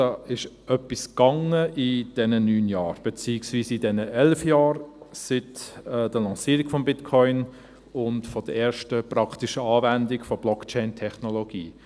Da ist etwas gelaufen in diesen neun Jahren, beziehungsweise in diesen elf Jahren, seit der Lancierung des Bitcoin und der ersten praktischen Anwendung der Blockchain-Technologie.